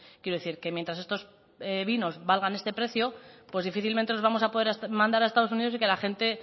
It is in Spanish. quiero decir que mientras estos vinos valgan este precio pues difícilmente vamos a poder mandar a estados unidos y que la gente